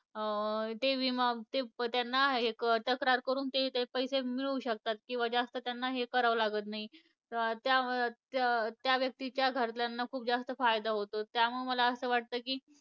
अं ते विमा ते त्यांना तक्रार करून ते पैसे मिळवू शकतात. किंवा जास्त यांना हे करावं लागत नाही. त्या त्या त्या व्यक्तीच्या घरातल्यांना खूप जास्त फायदा होतो. त्यामुळे मला असं वाटतं की